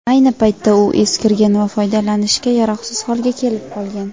ayni paytda u eskirgan va foydalanishga yaroqsiz holga kelib qolgan.